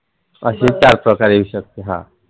रहा